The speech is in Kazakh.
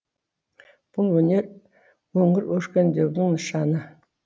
бұл өңір өркендеуінің нышаны